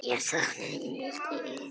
Ég sakna þín mikið.